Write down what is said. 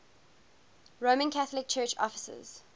roman catholic church offices